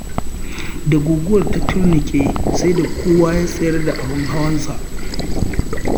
Da guguwar ta turnuƙe, sai da kowa ya tsayar da abin hawansa.